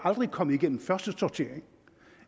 kommet igennem første sortering